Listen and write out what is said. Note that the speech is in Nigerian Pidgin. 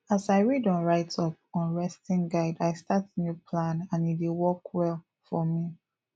as i read on write up on resting guide i start new plan and e dey work well for me